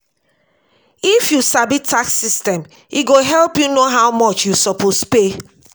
if you sabi tax system e go help you know how much you suppose pay.